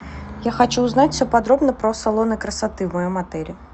я хочу узнать все подробно про салоны красоты в моем отеле